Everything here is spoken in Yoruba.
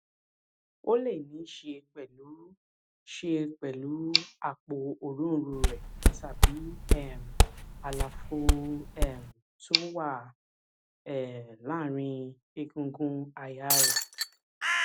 ó lè níí ṣe pẹlú ṣe pẹlú àpò òróǹro rẹ tàbí um àlàfo um tó wà um láàárín egungun àyà rẹ